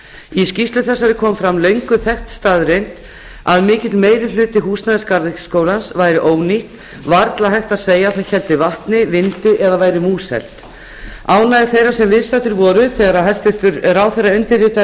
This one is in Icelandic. í skýrslu þessari kom fram löngu þekkt staðreynd að mikill meirihluti húsnæðis garðyrkjuskólans væri ónýtt varla hægt að segja að það héldi vatni vindi eða væri múshelt ánægja þeirra sem viðstaddir voru þegar hæstvirtur ráðherra undirritaði